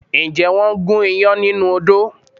Ǹjẹ́ wọ́n gún iyán nínú odó?